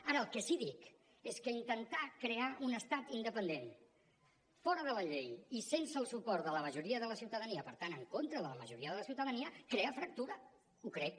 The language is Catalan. ara el que sí que dic és que intentar crear un estat independent fora de la llei i sense el suport de la majoria de la ciutadania per tant en contra de la majoria de la ciutadania crea fractura ho crec